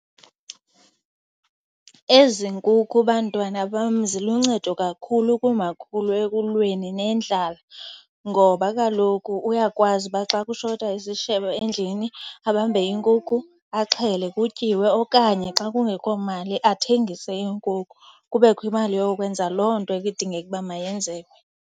Ezi nkukhu bantwana bam ziluncedo kakhulu kumakhulu ekulweni nendlala, ngoba kaloku uyakwazi uba xa kushota isishebo endlini abambe iinkukhu axhele kutyiwe. Okanye xa kungekho mali athengise iinkukhu kubekho imali yokwenza loo nto ekudingeka uba mayenzeke.